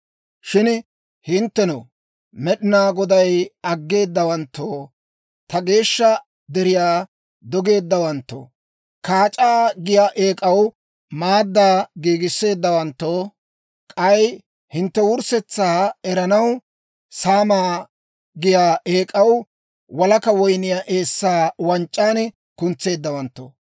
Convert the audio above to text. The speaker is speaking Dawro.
«Shin hinttenoo, Med'inaa Godaa aggeedawanttoo, ta geeshsha deriyaa dogeeddawanttoo, Kaac'aa giyaa eek'aw maaddaa giigisseeddawanttoo, k'ay hintte wurssetsaa eranaw, Saamaa giyaa eek'aw walaka woyniyaa eessaa wanc'c'an kuntseeddawanttoo,